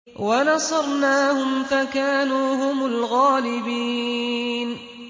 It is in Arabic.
وَنَصَرْنَاهُمْ فَكَانُوا هُمُ الْغَالِبِينَ